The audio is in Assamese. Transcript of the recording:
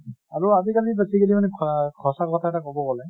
আৰু আজি কালি basically মানে স সঁচা কথা এটা কʼব গলে